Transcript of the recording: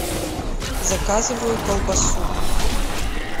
заказываю колбасу